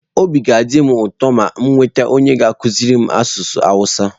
Obi ga-adị m ụtọ ma m nweta onye ga-akụziri m asụsụ awụsa.